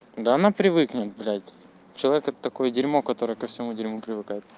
да она привыкнет блядь человека такое дерьмо который ко всему дерьмо привыкает